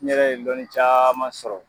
N yɛrɛ ye dɔni caaman sɔrɔ